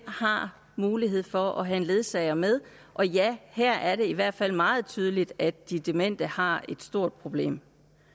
har mulighed for at have en ledsager med og ja her er det i hvert fald meget tydeligt at de demente har et stort problem